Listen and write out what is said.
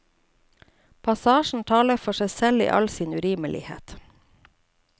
Passasjen taler for seg selv i all sin urimelighet.